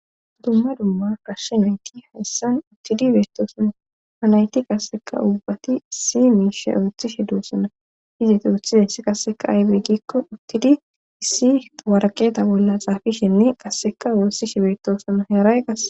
Dumma dumma gashshenoyti hayssan uttidi beettoosanna hanayti qasseka ubbati issi miishe oothishe duussana hizit uthide sh qasseka aybey ggikko uttidi issi waraqeeta bolla xaafishenne qasseka oosishe beettoosana hearay qas